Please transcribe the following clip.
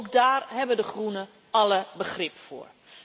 Ook daar hebben de Groenen alle begrip voor.